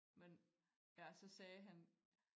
Men ja så sagde han